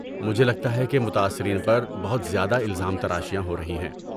مجھے لگتا ہے کہ متاثرین پر بہت زیادہ الزام تراشیاں ہو رہی ہیں۔